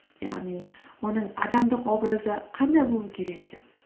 яғни оның адамдық образы қандай болу керек деп